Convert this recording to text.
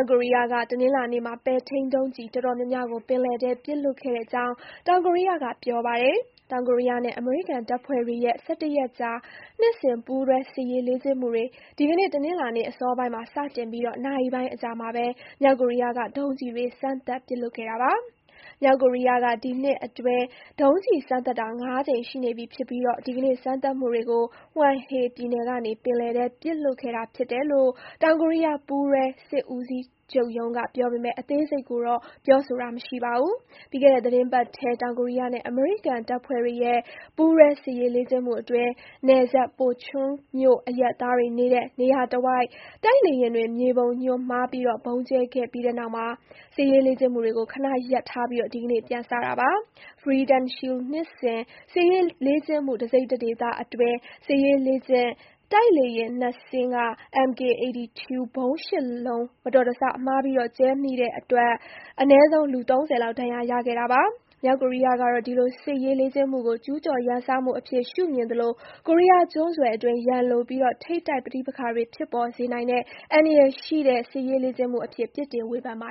ကိုရီးယားက တနင်္လာနေ့မှာ ပဲ့ထိန်းဒုံးကျည်တော်တော်များများကို ပင်လယ်ထဲ ပစ်လွှတ်ခဲ့ ကြောင်း တောင်ကိုရီးယားက ပြောပါတယ်။ တောင်ကိုရီးယားနဲ့ အမေရိကန်တပ်ဖွဲ့တွေရဲ့ (၁၁) ရက် ကြာ နှစ်စဉ်ပူးတွဲစစ်ရေးလေ့ကျင့်မှုတွေ ဒီကနေ့ တနင်္လာနေ့အစောပိုင်းမှာ စတင်ပြီး နာရီပိုင်း အကြာမှာပဲ မြောက်ကိုရီးယားက ဒုံးကျည်တွေစမ်းသပ်ပစ်လွှတ်ခဲ့တာပါ။ မြောက်ကိုရီးယားက ဒီနှစ်အတွင်း ဒုံးကျည်စမ်းသပ်တာ (၅) ကြိမ်ရှိနေပြီဖြစ်ပြီး ဒီကနေ့ စမ်းသပ်မှုတွေ ကို Hwanghae ပြည်နယ်က နေပင်လယ်ထဲပစ်လွှတ်ခဲ့တာဖြစ်တယ်လို့ တောင်ကိုရီးယား ပူးတွဲစစ်ဦးစီး ချုပ်ရုံးကပြောပေမဲ့ အသေးစိတ်ကိုတော့ ပြောဆိုတာမရှိပါဘူး။ ပြီးခဲ့တဲ့ သီတင်းပတ်ထဲ တောင်ကိုရီး ယားနဲ့ အမေရိကန်တပ်ဖွဲ့တွေရဲ့ ပူးတွဲစစ်ရေးလေ့ကျင့်မှုအတွင်း နယ်စပ် Pocheon မြို့အရပ်သားတွေ နေတဲ့ နေရာတဝိုက် တိုက်လေယာဉ်တွေက မြေပုံညွှန်းမှားဗုံးကြဲခဲ့ပြီးတဲ့နောက် စစ်ရေးလေ့ကျင့်မှု တွေကို ခဏရပ်ထားပြီး ဒီကနေ့ ပြန်စတာပါ။ Freedom Shield နှစ်စဉ် စစ်ရေးလေ့ကျင့်မှု တစိတ်တဒေသအတွင်း စစ်ရေးလေ့ကျင့်တိုက်လေယာဉ် (၂) စင်းက MK-82 ဗုံး (၈) လုံး မတော်တဆ မှားပြီးကြဲမိခဲ့တဲ့အတွက် အနည်းဆုံး လူ (၃၀) လောက် ဒဏ်ရာရခဲ့ပါတယ်။ မြောက်ကိုရီးယားကတော့ ဒီလိုစစ်ရေးလေ့ကျင့်မှုကို ကျူးကျော်ရန်စမှုအဖြစ် ရှုမြင်သလို ကိုရီးယားကျွန်းဆွယ်အတွင်း ရန်လိုပြီး ထိပ်တိုက်ပဋိပက္ခတွေဖြစ်ပေါ်စေနိုင်တဲ့ အန္တရာယ်ရှိတဲ့စစ်ရေးလေ့ကျင့်မှုအဖြစ် ပြစ်တင်ဝေဖန်ပါ